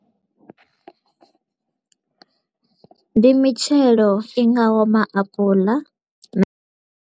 Ndi mitshelo i ngaho maapuḽa na.